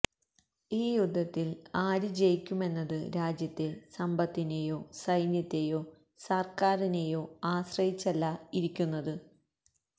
ഈ യുദ്ധത്തിൽ ആര് ജയിക്കുമെന്നത് രാജ്യത്തെ സന്പത്തിനേയോ സൈന്യത്തെയോ സർക്കാരിനേയോ ആശ്രയിച്ചല്ല ഇരിക്കുന്നത്